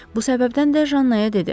Bu səbəbdən də Jannaya dedi: